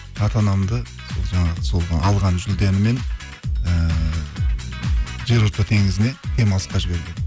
ата анамды сол жаңағы сол алған жүлдеммен ііі жерорта теңізіне демалысқа жібергенмін